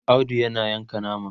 Audu na Yanka nama